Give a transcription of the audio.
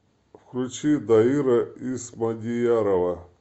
включи дайыра исмадиярова